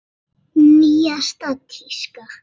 Nýjasta tíska?